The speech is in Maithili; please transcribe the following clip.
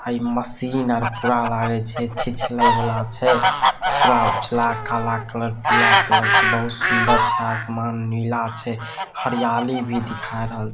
हई मशीन आर पूरा लागे छै छिछले वला छै पूरा उजला काला कलर पीला कलर से बहुत सुंदर छै आसमान नीला छै हरियाली भी दिखा रहल --